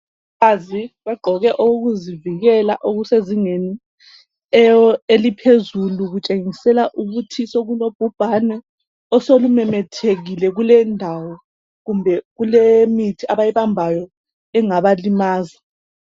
Abafazi bagqoke okokuzivikela okuse zingeni eliphezulu kutshengisela ukuthi sokulo bhubhane osulu memethekile kuleyi ndawo kumbe kulemithi abayi bambayo engabalimaza.